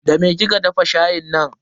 Da me kika dafa shayin nan?